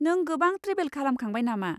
नों गोबां ट्रेभेल खालामखांबाय नामा?